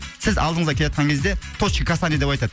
сіз алдыңызда келатқан кезде точка касание деп айтады